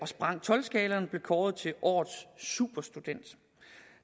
sprang tolv skalaen og blev kåret til årets superstudent